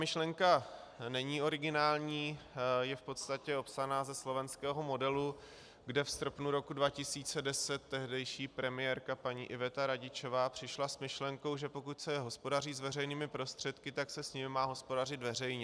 Myšlenka není originální, je v podstatě opsaná ze slovenského modelu, kde v srpnu roku 2010 tehdejší premiérka paní Iveta Radičová přišla s myšlenkou, že pokud se hospodaří s veřejnými prostředky, tak se s nimi má hospodařit veřejně.